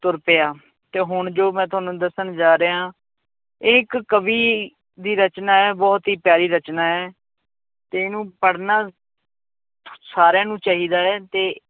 ਤੁਰ ਪਿਆ, ਤੇ ਹੁਣ ਜੋ ਮੈਂ ਤੁਹਾਨੂੰ ਦੱਸਣ ਜਾ ਰਿਹਾ ਹਾਂ ਇਹ ਇੱਕ ਕਵੀ ਦੀ ਰਚਨਾ ਹੈ ਬਹੁਤ ਹੀ ਪਿਆਰੀ ਰਚਨਾ ਹੈ ਤੇ ਇਹਨੂੰ ਪੜ੍ਹਨਾ ਸਾਰਿਆਂ ਨੂੰ ਚਾਹੀਦਾ ਹੈ, ਤੇ